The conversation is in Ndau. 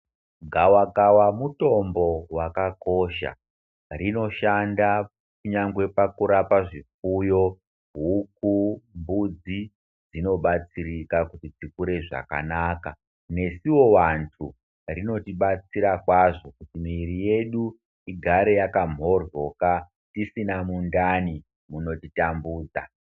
Gwakawa mutombo wakakosha rinoshanda kunyangwe pakurapa zvipfuyo, huku, mbudzi dzinobatsirika kuti dzikure zvakabanaka nesuwo vantu rinotibaysira kwazvo kuti miviri yedu igare yakamhoryoka tisina mundani munotitambudza.